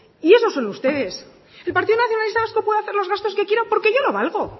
y eso son ustedes el partido nacionalista vasco puede hacer los gastos que quiera porque yo lo valgo